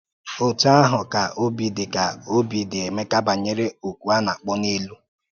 Ótú àhụ̀ ka òbì dị̀ ka òbì dị̀ Èméká banyere “ókù a na-akpọ̀ n’èlú.”